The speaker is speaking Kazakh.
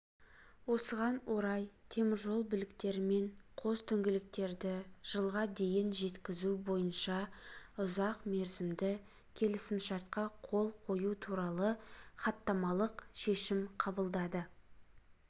осыған орай теміржол біліктері мен қос дөңгелектерді жылға дейін жеткізу бойынша ұзақмерзімді келісімшартқа қол қою туралы хаттамалық шешім қабылдады